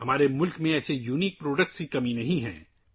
ہمارے ملک میں ایسی منفرد مصنوعات کی کمی نہیں ہے